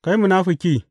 Kai munafuki!